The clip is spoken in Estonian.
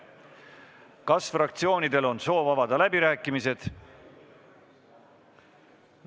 Kas fraktsioonidel on soovi avada läbirääkimisi?